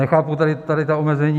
Nechápu tady ta omezení.